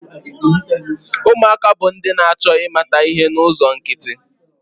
Ụmụaka bụ ndị na-achọ ịmata ihe n'ụzọ nkịtị.